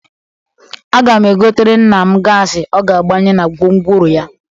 Aga m egotere nna m gaasị ọ ga-agbanye na gwomgworo ya.